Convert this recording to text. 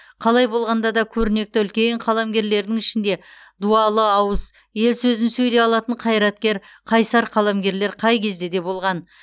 қалай болғанда да көрнекті үлкен қаламгерлердің ішінде дуалы ауыз ел сөзін сөйлей алатын қайраткер қайсар қаламгерлер қай кезде де болған